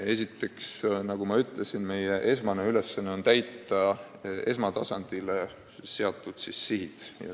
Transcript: Esiteks, nagu ma ütlesin, meie põhiülesanne on täita esmatasandile seatud sihid.